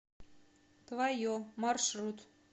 твое маршрут